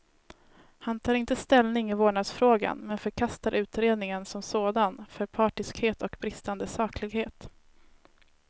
Han tar inte ställning i vårdnadsfrågan, men förkastar utredningen som sådan för partiskhet och bristande saklighet.